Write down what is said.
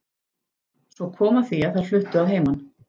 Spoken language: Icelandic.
Svo kom að því að þær fluttu að heiman.